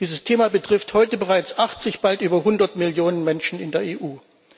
Dieses Thema betrifft heute bereits 80 und bald über 100 Millionen Menschen in der EU.